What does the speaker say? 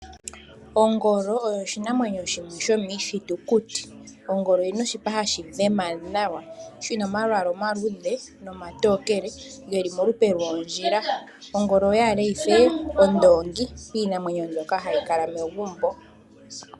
Ongolo oyo oshinamwenyo shimwe shomiithitukuti, ongolo oyina oshipa hashi adhima nawa shina omalwaala omaluudhe nomatookele geli molupe lwoondjila. Ongolo oyaale yife ondoongi piinamwenyo mbyoka hayi kala megumbo.